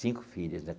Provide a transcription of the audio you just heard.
Cinco filhos, né?